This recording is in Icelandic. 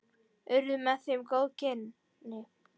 Urðu með þeim góð kynni.